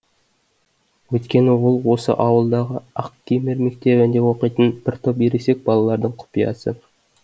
өйткені ол осы ауылдағы ақкемер мектебінде оқитын бір топ ересек балалардың құпиясы